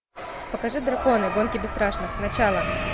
покажи драконы гонки бесстрашных начало